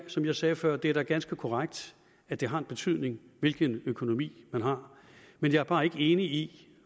som jeg sagde før er det da ganske korrekt at det har en betydning hvilken økonomi man har men jeg er bare ikke enig i